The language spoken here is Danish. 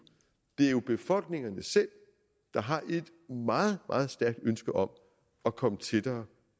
det er jo befolkningerne selv der har et meget meget stærkt ønske om at komme tættere